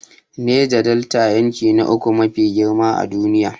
Neja Delta, yanki na uku mafi girma a duniya.